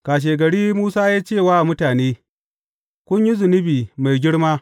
Kashegari Musa ya ce wa mutane, Kun yi zunubi mai girma.